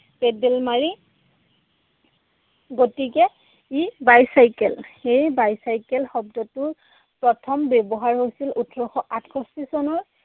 Paddle মাৰি। গতিকে ই bicycle, সেই bicycle শব্দটোৰ প্ৰথম ব্যৱহাৰ হৈছিল ওঠৰ আঠষষ্ঠী চনৰ